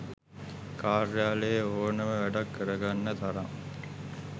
කාර්යාලයේ ඕනම වැඩක් කරගන්න තරම්